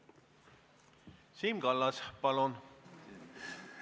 Siim Kallas, palun!